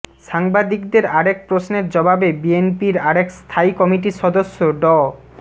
সাংবাদিকদের আরেক প্রশ্নের জবাবে বিএনপির আরেক স্থায়ী কমিটির সদস্য ড